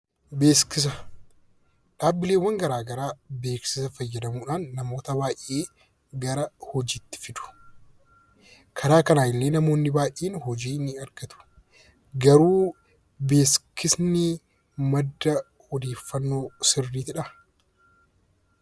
Beeksisa; dhaabbileewwan garaagaraa beeksisa faayyadaamuudhaan namoota baay'ee gara hojiitti fidu. Karaa kanan illee namoonni baay'een hojii ni argatu. garuu, beeksisni madda ooddeeffannoo sirriidhaa?